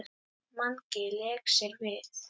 Mangi lék sér með.